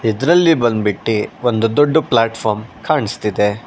ಇದರಲ್ಲಿ ಬಂದ್ಬಿಟ್ಟಿ ಒಂದು ದೊಡ್ಡು ಪ್ಲ್ಯಾಟ್ ಫಾರ್ಮ್ ಕಾಣಿಸುತ್ತಿದೆ.